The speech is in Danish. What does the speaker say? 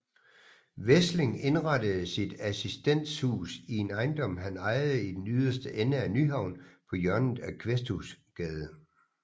Wesling indrettede sit Assistenshus i en ejendom han ejede i den yderste ende af Nyhavn på hjørnet af Kvæsthusgade